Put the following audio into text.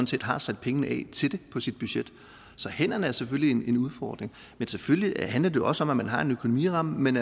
set har sat pengene af til det på sit budget så hænderne er selvfølgelig en udfordring men selvfølgelig handler det også om at man har en økonomiramme men